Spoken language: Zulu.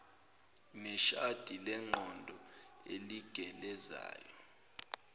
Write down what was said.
neshadi lengqondo eligelezayo